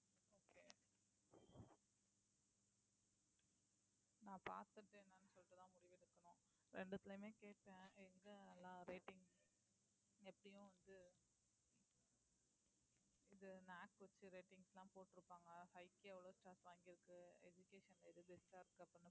நான் பாத்துட்டு என்னன்னு சொல்லிட்டுதான் முடிவு எடுக்கணும் ரெண்டுத்துலயுமே கேட்டேன் எங்க எல்லா rating எப்படியும் வந்து இது இந்த வச்சு ratings எல்லாம் போட்டிருப்பாங்க எவ்ளோ வாங்கிருக்கு education எது best ஆ இருக்கு அப்படின்னு